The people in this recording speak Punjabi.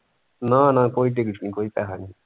ਨਾ ਨਾ ਕੋਈ ticket ਨਹੀਂ ਕੋਈ ਪੇਸਾ ਨਹੀਂ।